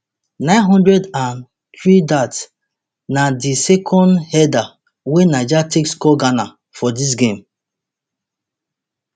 nine hundred and threedat na di second header wey niger take score ghana for dis game